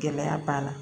Gɛlɛya b'a la